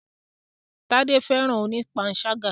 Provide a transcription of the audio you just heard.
Tádé fẹ́ràn oní panṣágà.